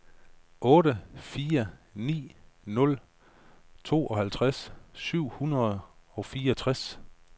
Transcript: otte fire ni nul tooghalvtreds syv hundrede og fireogtres